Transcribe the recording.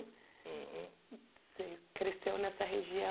Uhum. Você cresceu nessa